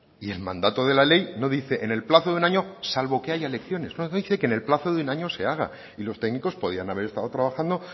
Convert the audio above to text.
y el mandado de la ley no dice en el plazo de un año salvo que haya elecciones no dice que en el plazo de un año se haga y los técnicos podrían haber estado trabajando